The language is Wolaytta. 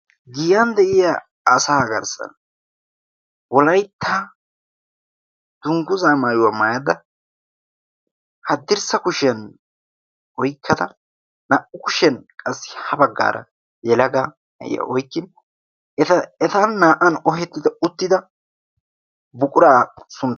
giyan de'iya asa agarssan wolaytta dungguzaa maayuwaa maayadda haddirssa kushiyan oikkada naa''u kushiyan qassi ha baggaara yelaga na'iya oykkin etan naa''an ohettida uttida buquraa su...